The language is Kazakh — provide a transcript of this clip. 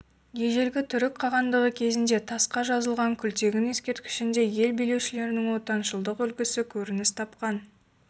ежелгі түркі қағандығы кезінде тасқа жазылған күлтегін ескерткішінде ел билеушілерінің отаншылдық үлгісі көрініс тапқан